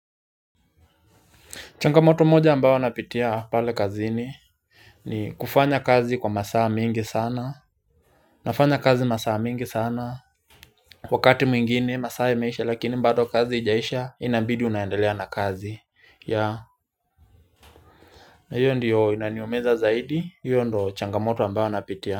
Changamoto moja ambayo napitia pale kazini ni kufanya kazi kwa masaa mingi sana nafanya kazi masaa mingi sana wakati mwingine masaa imeisha lakini bado kazi haijaisha inabidi unaendelea na kazi ya na hiyo ndiyo inaniumiza zaidi hiyo ndo changamoto ambayo napitia.